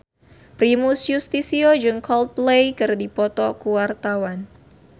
Primus Yustisio jeung Coldplay keur dipoto ku wartawan